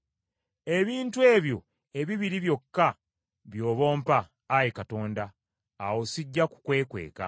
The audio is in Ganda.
Ebintu ebyo ebibiri byokka by’oba ompa, Ayi Katonda, awo sijja kukwekweka.